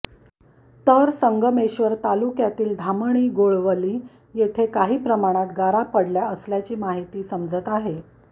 तर संगमेश्वर तालुक्यातील धामणी गोळवली येथे काही प्रमाणात गारा पडल्या असल्याची माहिती समजते आहे